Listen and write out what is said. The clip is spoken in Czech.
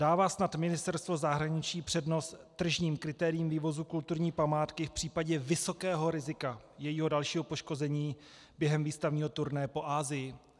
Dává snad Ministerstvo zahraniční přednost tržním kritériím vývozu kulturní památky v případě vysokého rizika jejího dalšího poškození během výstavního turné po Asii?